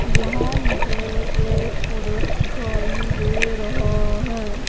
यहां मुझे एक पुरुष दिखाई दे रहा है।